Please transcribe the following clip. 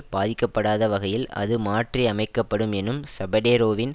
பாதிக்கப்படாத வகையில் அது மாற்றி அமைக்க படும் எனும் ஸபடேரோவின்